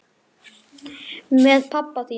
Með pabba þínum?